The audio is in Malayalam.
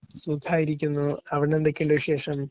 സുഖായിരിക്കുന്നു. അവിടെന്തൊക്കെയുണ്ട് വിശേഷം?